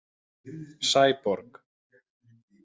Sæborg